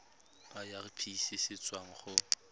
irp se se tswang go